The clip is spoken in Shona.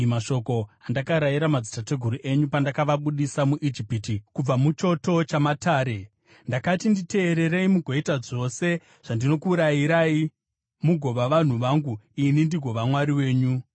mashoko andakarayira madzitateguru enyu pandakavabudisa muIjipiti kubva muchoto chamatare.’ Ndakati, ‘Nditeererei mugoita zvose zvandinokurayirai, mugova vanhu vangu, ini ndigova Mwari wenyu.